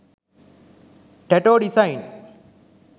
tattoo design